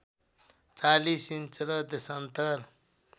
४० inch र देशान्तर